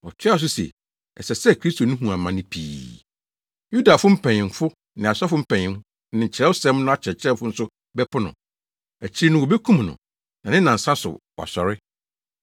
Ɔtoaa so se, “Ɛsɛ sɛ Kristo no hu amane pii; Yudafo mpanyimfo ne asɔfo mpanyin ne Kyerɛwsɛm no akyerɛkyerɛfo nso bɛpo no. Akyiri no wobekum no, na ne nnansa so wasɔre.”